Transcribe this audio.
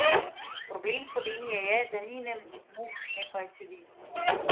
Problem Slovenije je, da ni ne muh ne pajčevin.